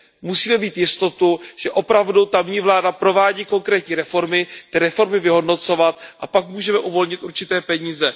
Musíme mít jistotu, že opravdu tamní vláda provádí konkrétní reformy, ty reformy vyhodnocovat a pak můžeme uvolnit určité peníze.